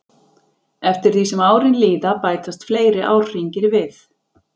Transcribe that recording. Eftir því sem árin líða bætast fleiri árhringir við.